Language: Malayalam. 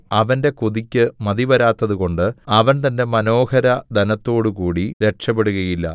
അവന്റെ കൊതിക്ക് മതിവരാത്തതുകൊണ്ട് അവൻ തന്റെ മനോഹരധനത്തോടുകൂടി രക്ഷപെടുകയില്ല